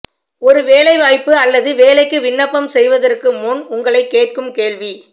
ஒரு வேலைவாய்ப்பு அல்லது வேலைக்கு விண்ணப்பம் செய்வதற்கு முன் உங்களைக் கேட்கும் கேள்வி